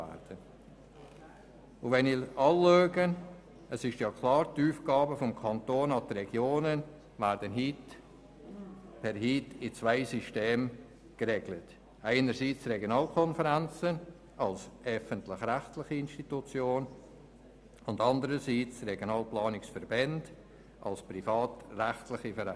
Die vom Kanton den Regionen übertragenen Aufgaben werden heute mit zwei Systemen geregelt, einerseits durch die Regionalkonferenzen als öffentlich-rechtliche Institutionen, andererseits durch die Regionalplanungsverbände als privatrechtliche Vereine.